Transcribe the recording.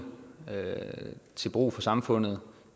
til brug for samfundet